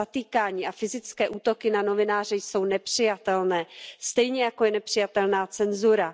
Zatýkání a fyzické útoky na novináře jsou nepřijatelné, stejně jako je nepřijatelná cenzura.